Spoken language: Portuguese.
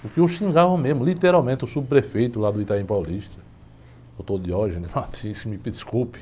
Porque eu xingava mesmo, literalmente, o subprefeito lá do, doutor, me desculpe.